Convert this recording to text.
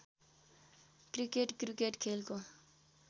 cricket cricket खेलको